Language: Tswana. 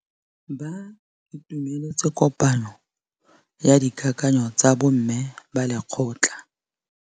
Ba itumeletse kôpanyo ya dikakanyô tsa bo mme ba lekgotla.